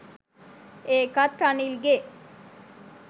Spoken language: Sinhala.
ඒකත් රනිල්ගෙ